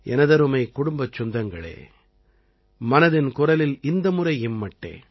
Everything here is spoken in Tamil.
எனதருமைக் குடும்பச் சொந்தங்களே மனதின் குரலில் இந்த முறை இம்மட்டே